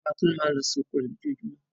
Bàbá Tolú máa ń lọ sí oko rẹ̀ lójoojúmọ́.